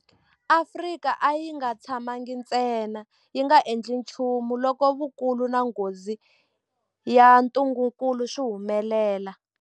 Afrika a yi nga tshamangi ntsena yi nga endli nchumu loko vukulu na nghozi ya ntungukulu swi humelela.